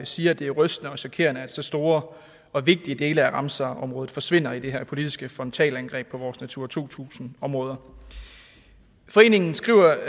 siger at det er rystende og chokerende at så store og vigtige dele af ramsarområdet forsvinder i det her politiske frontalangreb på vores natura to tusind områder foreningen skriver